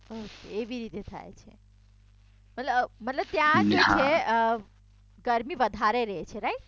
એવી રીતે થાય છે મતલબ ત્યાં ગરમી વધારે રેછે રાઈટ?